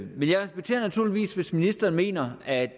men jeg respekterer naturligvis hvis ministeren mener at